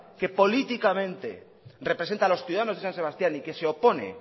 que políticamente representa a los ciudadanos de san sebastián y que se opone